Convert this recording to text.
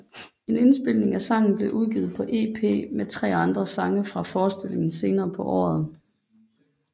En indspilning af sangen blev udgivet på EP med tre andre sange fra forestillingen senere på året